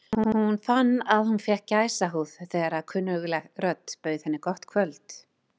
Hún fann að hún fékk gæsahúð þegar kunnugleg rödd bauð henni gott kvöld.